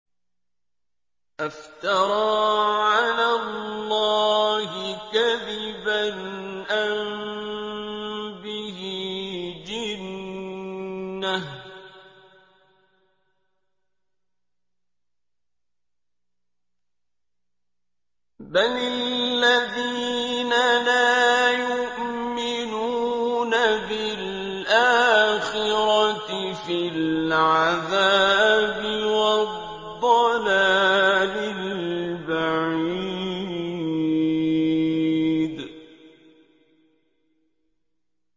أَفْتَرَىٰ عَلَى اللَّهِ كَذِبًا أَم بِهِ جِنَّةٌ ۗ بَلِ الَّذِينَ لَا يُؤْمِنُونَ بِالْآخِرَةِ فِي الْعَذَابِ وَالضَّلَالِ الْبَعِيدِ